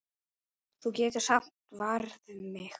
Þú getur samt varið mig.